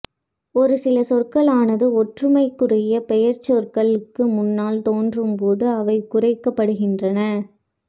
ஒரு சில சொற்களானது ஒற்றுமைக்குரிய பெயர்ச்சொற்களுக்கு முன்னால் தோன்றும் போது அவை குறைக்கப்படுகின்றன